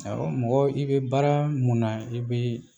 Ɔ mɔgɔ i bɛ baara mun na i bɛ